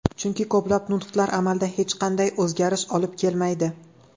Chunki ko‘plab nutqlar amalda hech qanday o‘zgarish olib kelmaydi.